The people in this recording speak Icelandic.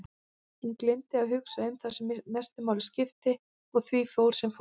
Hún gleymdi að hugsa um það sem mestu máli skipti og því fór sem fór.